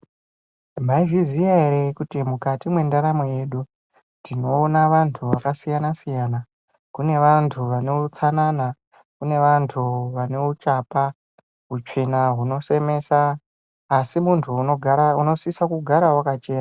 Mwaizviziya ere kuti mukati mwendaramo yedu tinoona vanhu vakasiyana siyana. Kune vanhu vane utsanana. Kune vanhu vane uchapa utsvina hunosemesa asi munhu unosise kugara wakachena.